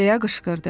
Deyə qışqırdı.